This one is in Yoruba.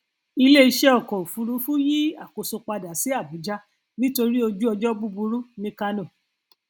iléiṣẹ ọkọ òfuurufú yí àkóso padà sí abuja nítorí ojúọjọ búburú ní kánò